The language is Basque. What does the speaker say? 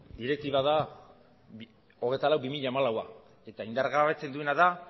direktiba da hogeita lau barra bi mila hamalaua eta indargabetzen duena da